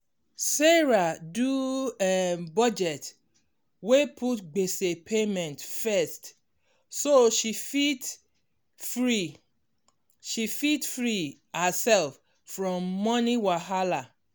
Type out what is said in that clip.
sarah do um budget wey put gbese payment first so she fit free she fit free herself from money wahala.